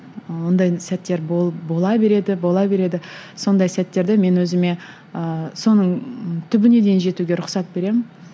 ондай сәттер бола береді бола береді сондай сәттерді мен өзіме ыыы соның түбіне дейін жетуге рұқсат беремін